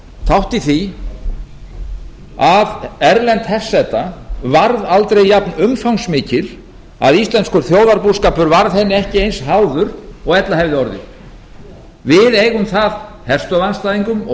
þátt í því að erlend herseta varð aldrei jafn umfangsmikil að íslenskur þjóðarbúskapur varð henni ekki eins háður og ella hefði orðið við eigum það herstöðvarandstæðingum og